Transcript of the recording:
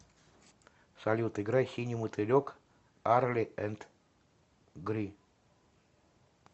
салют играй синий мотылек арли энд гри